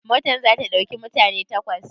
Motar za ta ɗauki mutane takwas?